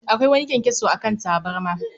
Akwai wani kyankyaso a kan tabarma